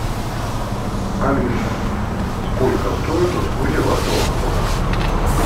алиса сколько стоят услуги вашего фотографа